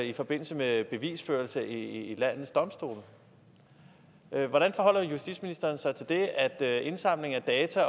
i forbindelse med bevisførelse i landets domstole hvordan forholder justitsministeriet sig til det at indsamling af data